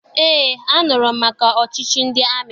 Eé, anụrụ m maka ọchịchị ndị amị.